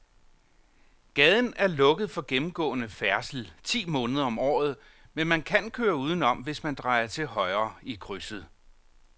Gaden er lukket for gennemgående færdsel ti måneder om året, men man kan køre udenom, hvis man drejer til højre i krydset.